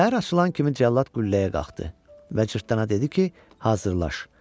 Səhər açılan kimi cəllad qülləyə qalxdı və cırtdana dedi ki, hazırlaş.